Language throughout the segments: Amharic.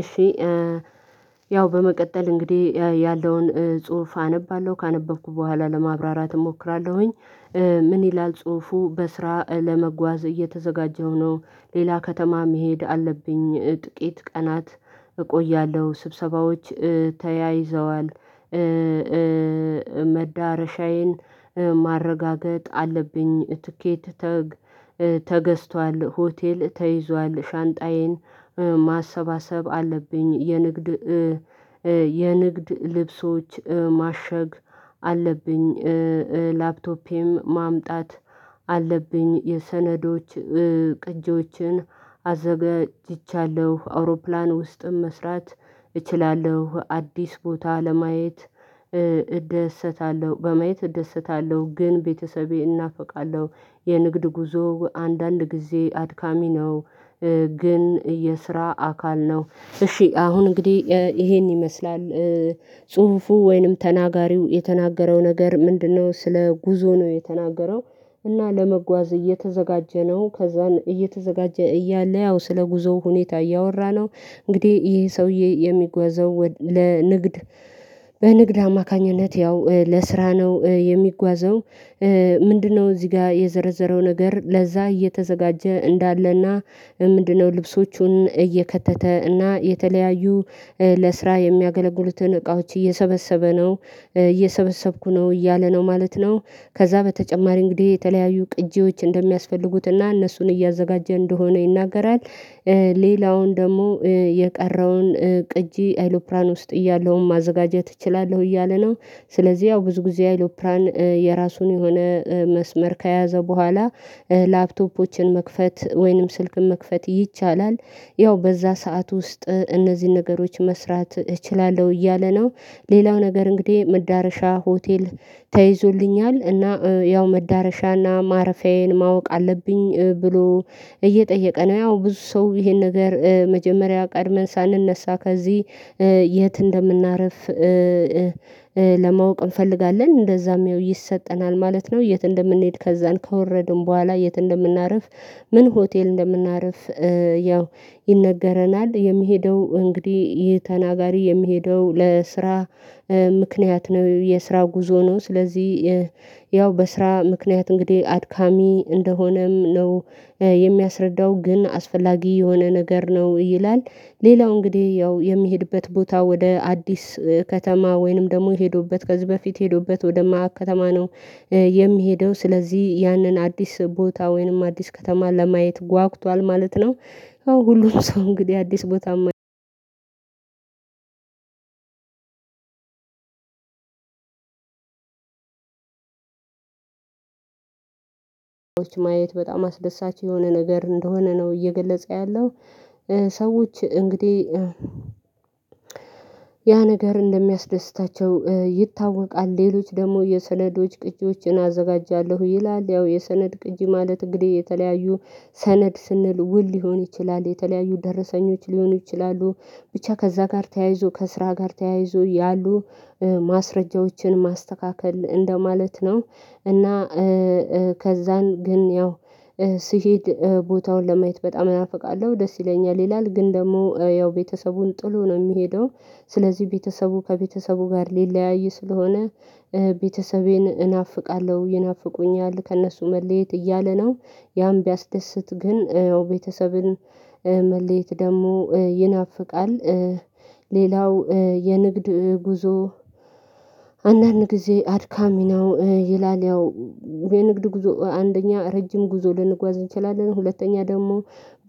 እሺ ያው በመቀጠል እንግዲህ ያለውን ጽሁፍ አነባለሁ ካነበብኩ በኋላ ለማብራራት እሞክራለሁኝ። ምን ይላል ጽሁፉ በስራ ለመጓዝ እየተዘጋጀሁ ነው። ሌላ ከተማ መሄድ አለብኝ ጥቂት ቀናት። እቆያለሁ ስብሰባዎች ተያይዘዋል መዳረሻዬን ማረጋገጥ አለብኝ። ትኬት ተገዝቷል ሆቴል ተይዟል ሻንጣዬን ማሰባሰብ አለብኝ። የንግድ የንግድ ልብሶች ማሸግ አለብኝ። ላፕቶፔም ማምጣት አለብኝ የሰነዶች ቅጂዎችን አዘጋጅቻለሁ። አውሮፕላን ውስጥም መስራት እችላለሁ። አዲስ ቦታ ለማየት እደሰታለሁ በማየት እደሰታለሁ ግን ቤተሰቤ እናፍቃለሁ። የንግድ ጉዞ አንዳንድ ጊዜ አድካሚ ነው። ግን የስራ አካል ነው። እሺ አሁን እንግዲህ ይሄን ይመስላል። ጽሁፉ ወይንም ተናጋሪው የተናገረው ነገር ምንድነው ስለ ጉዞ ነው የተናገረው? እና ለመጓዝ እየተዘጋጀ ነው ከዛን እየተዘጋጀ እያለ ያው ስለ ጉዞው ሁኔታ እያወራ ነው። እንግዲህ ይሄ ሰውዬ የሚጓዘው ለንግድ በንግድ አማካኝነት ያው ለስራ ነው የሚጓዘው። ምንድነው እዚህ ጋር የዘረዘረው ነገር ለዛ እየተዘጋጀ እንዳለና? ምንድነው ልብሶቹን እየከተተ እና የተለያዩ ለስራ የሚያገለግሉትን እቃዎች እየሰበሰበ ነው እየሰበሰብኩ ነው እያለ ነው ማለት ነው። ከዛ በተጨማሪ እንግዲህ የተለያዩ ቅጂዎች እንደሚያስፈልጉትና እነሱን እያዘጋጀ እንደሆነ ይናገራል። ሌላውን ደግሞ የቀረውን ቅጂ አይሎፕራን ውስጥ እያለውም ማዘጋጀት እችላለሁ እያለ ነው። ስለዚህ ያው ብዙ ጊዜ አይሎፕራን የራሱን የሆነ መስመር ከያዘ በኋላ ላፕቶፖችን መክፈት ወይንም ስልክን መክፈት ይቻላል። ያው በዛ ሰዓት ውስጥ እነዚህን ነገሮች መስራት እችላለሁ እያለ ነው። ሌላው ነገር እንግዲህ መዳረሻ ሆቴል ተይዞልኛል እና ያው መዳረሻና ማረፊያዬን ማወቅ አለብኝ ብሎ እየጠየቀ ነው። ያው ብዙ ሰው ይሄን ነገር መጀመሪያ ቀድመን ሳንነሳ ከዚህ የት እንደምናርፍ? ለማወቅ እንፈልጋለን እንደዛም ይኸው ይሰጠናል ማለት ነው። የት እንደምንሄድ ከዛን ከወረድን በኋላ የት እንደምናርፍ? ምን ሆቴል እንደምናርፍ? ያው ይነገረናል የሚሄደው እንግዲህ ይህ ተናጋሪ የሚሄደው ለስራ ምክንያት ነው የስራ ጉዞ ነው። ስለዚህ ያው በስራ ምክንያት እንግዲህ አድካሚ እንደሆነም ነው። የሚያስረዳው ግን አስፈላጊ የሆነ ነገር ነው ይላል። ሌላው እንግዲህ ያው የሚሄድበት ቦታ ወደ አዲስ ከተማ ወይንም ደግሞ ሄዶበት ከዚህ በፊት ሄዶበት ወደ ማያቅ ከተማ ነው። የሚሄደው ስለዚህ ያንን አዲስ ቦታ ወይንም አዲስ ከተማ ለማየት ጓግቷል ማለት ነው። ሁሉም ሰው እንግዲህ አዲስ ቦታ ማየ ማየት በጣም አስደሳች የሆነ ነገር እንደሆነ ነው እየገለጸ ያለው። ሰዎች እንግዲህ ያ ነገር እንደሚያስደስታቸው ይታወቃል ሌሎች ደግሞ የሰነዶች ቅጂዎችን አዘጋጃለሁ ይላል ያው የሰነድ ቅጂ ማለት እንግዲህ የተለያዩ ሰነድ ስንል ውል ሊሆን ይችላል የተለያዩ ደረሰኞች ሊሆኑ ይችላሉ። ብቻ ከዛ ጋር ተያይዞ ከስራ ጋር ተያይዞ ያሉ ማስረጃዎችን ማስተካከል እንደማለት ነው። እና ከዛን ግን ያው ስሄድ ቦታውን ለማየት በጣም እናፍቃለሁ ደስ ይለኛል ይላል። ግን ደግሞ ያው ቤተሰቡን ጥሎ ነው የሚሄደው ስለዚህ ቤተሰቡ ከቤተሰቡ ጋር ሊለያይ ስለሆነ ቤተሰቤን እናፍቃለሁ ይናፍቁኛል ከእነሱ መለየት እያለ ነው። ያም ቢያስደስት ግን ቤተሰብን መለየት ደግሞ ይናፍቃል። ሌላው የንግድ ጉዞ አንዳንድ ጊዜ አድካሚ ነው ይላል። ያው የንግድ ጉዞ አንደኛ ረጅም ጉዞ ልንጓዝ እንችላለን ሁለተኛ ደግሞ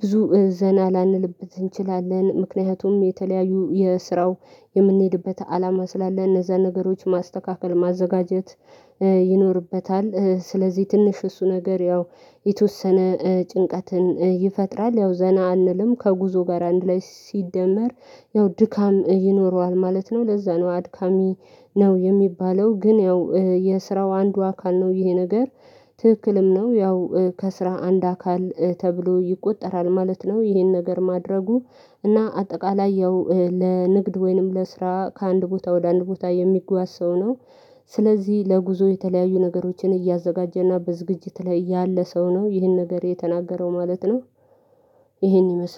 ብዙ ዘና ላንልበት እንችላለን ምክንያቱም የተለያዩ የስራው የምንሄድበት አላማ ስላለ እነዛን ነገሮች ማስተካከል ማዘጋጀት ይኖርበታል። ስለዚህ ትንሽ እሱ ነገር ያው የተወሰነ ጭንቀትን ይፈጥራል ያው ዘና አንልም ከጉዞ ጋር አንድ ላይ ሲደመር ያው ድካም ይኖረዋል ማለት ነው። ለዛ ነው አድካሚ ነው የሚባለው። ግን ያው የስራው አንዱ አካል ነው ይህ ነገር ትክክልም ነው ያው ከስራ አንድ አካል ተብሎ ይቆጠራል ማለት ነው። ይሄን ነገር ማድረጉ እና አጠቃላይ ያው ለንግድ ወይንም ለስራ ከአንድ ቦታ ወደ አንድ ቦታ የሚጓዝ ሰው ነው። ስለዚህ ለጉዞ የተለያዩ ነገሮችን እያዘጋጀና በዝግጅት ላይ ያለ ሰው ነው ይህን ነገር የተናገረው ማለት ነው። ይሄን ይመስላል